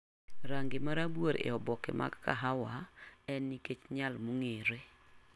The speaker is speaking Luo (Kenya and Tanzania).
Rangi mar rabuor e oboke mag kahawa en nikech nyal mong'ere.